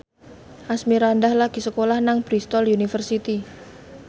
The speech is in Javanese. Asmirandah lagi sekolah nang Bristol university